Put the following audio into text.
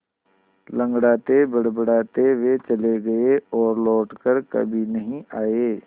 लँगड़ाते बड़बड़ाते वे चले गए और लौट कर कभी नहीं आए